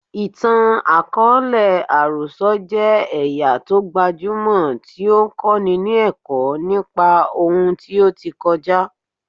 Ìtàn àkọọ́lẹ̀ àròsọ jẹ́ ẹ̀yà tó gbajúmọ̀ tí ó ń kọ́ni ní ẹ̀kọ́ nípa ohun tí ó ti kọjá.